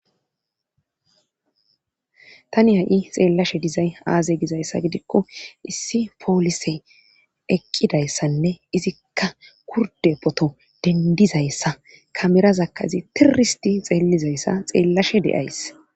Tani ha'i xeellashe dizay aaze gizayssa gidikko issi poolise ekqidayssanne izikka kurde poto dendizayssa kamerazakkazi tiristi xeellizayssa xeellashe de'ays.